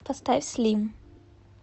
поставь слим